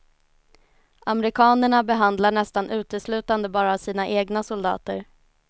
Amerikanerna behandlar nästan uteslutande bara sina egna soldater.